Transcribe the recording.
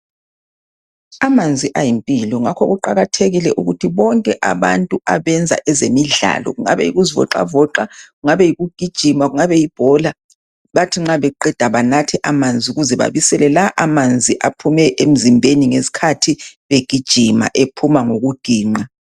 Amanzi ayimpilo ngakho kuqakathekile ukuthi bonke abantu abenza ezemidlalo ngabe yokuzivoxavoxa ngabe yikugijima ngabe libhola bathi nxa beqeda banathe amanzi ukuze babisele la amanzi aphume emzimbeni ngesikhathi begijima aphuma ngokuginqa